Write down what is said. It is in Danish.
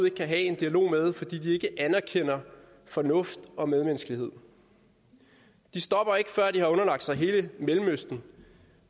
ikke kan have en dialog med fordi de ikke anerkender fornuft og medmenneskelighed de stopper ikke før de har underlagt sig hele mellemøsten